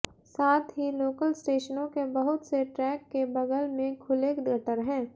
साथ ही लोकल स्टेशनों के बहुत से ट्रैक के बगल में खुले गटर हैं